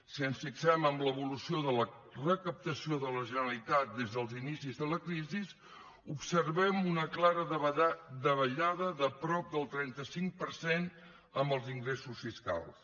si ens fixem en l’evolució de la recaptació de la generalitat des dels inicis de la crisi observem una clara davallada de prop del trenta cinc per cent en els ingressos fiscals